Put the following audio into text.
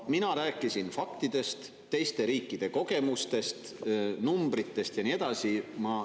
Mina rääkisin faktidest, teiste riikide kogemustest, numbritest ja nii edasi.